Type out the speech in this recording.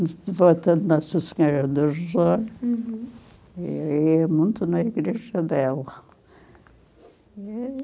Sou devota de Nossa Senhora dos, uhum, e ia muito na igreja dela.